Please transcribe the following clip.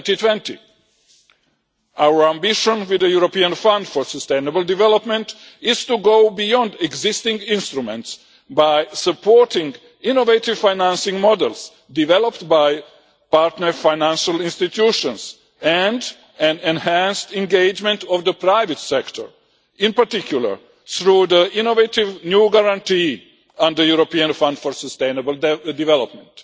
2020. Our ambition for the European Fund for Sustainable Development is to go beyond existing instruments by supporting innovative financing models developed by partner financial institutions and an enhanced engagement of the private sector, in particular through the innovative new guarantee and the European Fund for Sustainable Development.